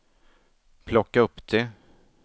plocka upp det